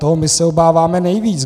Toho my se obáváme nejvíc.